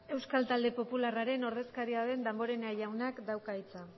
euskal talde popularraren ordezkaria den damborenea jaunak dauka hitza